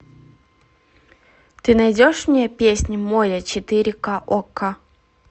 ты найдешь мне песню море четыре ка окко